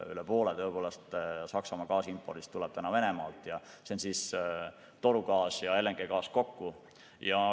Üle poole Saksamaa gaasiimpordist tuleb täna Venemaalt ja see on torugaas ja LNG kokku.